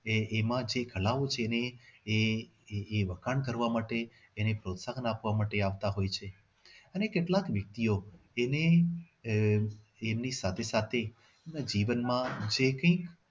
એમાં જે કળાઓ છે એ એ એ એ વખાણ કરવા માટે એને પ્રોત્સાહન કરવા માટે આવતા હોય છે અને કેટલાક વ્યક્તિઓ એને આહ એમની સાથે સાથે એમના જીવન માં જે કઈ